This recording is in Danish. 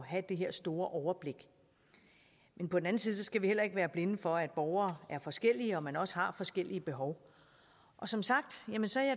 have det her store overblik men på den anden side skal vi heller ikke være blinde for at borgere er forskellige og at man også har forskellige behov som sagt